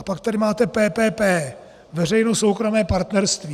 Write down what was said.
A pak tady máte PPP, veřejno-soukromé partnerství.